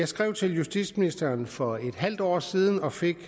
skrev til justitsministeren for en halv år siden og fik